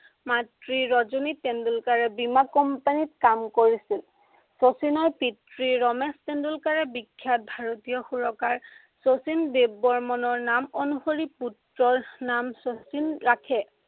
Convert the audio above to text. মাতৃ ৰজনী তেণ্ডলুকাৰে বীমা company ত কাম কৰিছিল। শচীনৰ পিতৃ ৰমেশ তেণ্ডলুকাৰে বিখ্য়াত সুৰকাৰ শচীন দেৱ বৰ্মণৰ নাম অনুসিৰ পুত্ৰৰ নাম শচীন ৰাখে।